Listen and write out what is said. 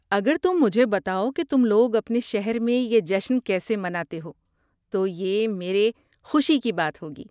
اگر تم مجھے بتاؤ کہ تم لوگ اپنے شہر میں یہ جشن کیسے مناتے ہو تو یہ میرے خوشی کی بات ہوگی۔